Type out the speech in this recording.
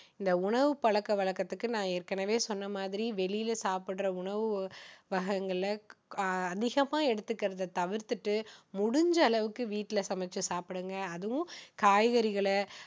இந்த உணவு பழக்க வழக்கத்துக்கு நான் ஏற்கனவே சொன்ன மாதிரி வெளியில சாப்பிடுற அணவு வகைங்களை அதிகமா எடுத்துகிறதை தவிர்த்துட்டு முடிஞ்ச அளவுக்கு வீட்டுல சமைச்சி சாப்பிடுங்க அதுவும் காய்கறிகளை